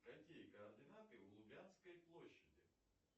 какие координаты у лубянской площади